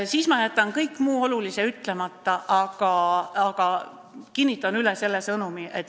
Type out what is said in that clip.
Siis ma jätan kõik muu olulise ütlemata, aga kinnitan üle selle sõnumi.